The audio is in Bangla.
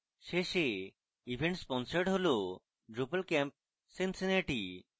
শেষে event sponsored হল drupalcamp cincinnati